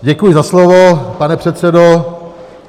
Děkuji za slovo, pane předsedo.